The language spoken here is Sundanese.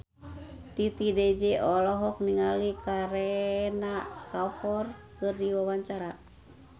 Titi DJ olohok ningali Kareena Kapoor keur diwawancara